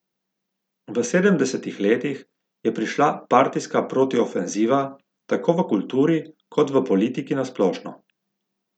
V sedemdesetih letih je prišla partijska protiofenziva, tako v kulturi kot v politiki na splošno.